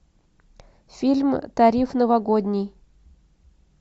фильм тариф новогодний